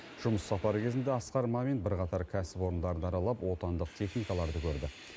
жұмыс сапары кезінде асқар мамин бірқатар кәсіпорындарды аралап отандық техникаларды көрді